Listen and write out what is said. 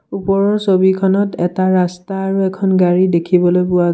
ওপৰৰ ছবিখনত এটা ৰাস্তা আৰু এখন গাড়ী দেখিবলৈ পোৱা--